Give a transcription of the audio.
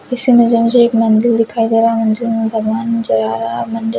उसी में मुझे एक मंदिर दिखाई दे रहा हे मंदिर में भगवान चदा रहा मंदिर--